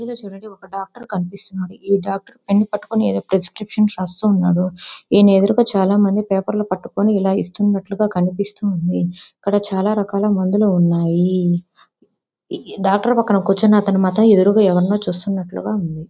ఇక్కడ చూడండి ఒక డాక్టర్ కనిపిస్తున్నాడు. డాక్టర్ పెన్ పట్టుకుని ఏదో ప్రిస్క్రిప్షన్ రాస్తూ ఉన్నాడు. ఎదురుగా చాలామంది పేపర్లు పట్టుకుని ఇలా ఇస్తున్నట్టుగా కనిపిస్తోంది. ఇక్కడ చాలా రకాల మందులు ఉన్నాయి. డాక్టర్ పక్కన కూర్చున్న అతను మాత్రం ఎదురుగా ఎవరినో చూస్తున్నట్లుగా ఉంది.